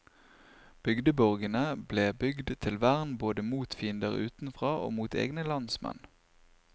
Bygdeborgene ble bygd til vern både mot fiender utenfra og mot egne landsmenn.